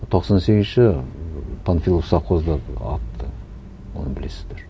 тоқсан сегізінші панфилов совхозда атты оны білесіздер